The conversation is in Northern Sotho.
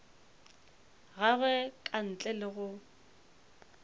gagwe ka ntle le go